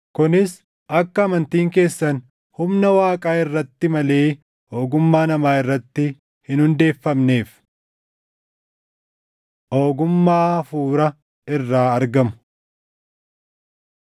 kunis akka amantiin keessan humna Waaqaa irratti malee ogummaa namaa irratti hin hundeeffamneef. Ogummaa Hafuura Irraa Argamu